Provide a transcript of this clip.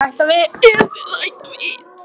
Kristján Már Unnarsson: Eruð þið að hætta við?